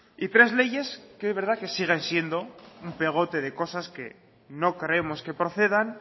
y tres leyes que es verdad que siguen siendo un pegote de cosas que no creemos que procedan